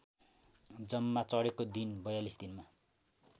जम्मा चढेको दिन ४२ दिनमा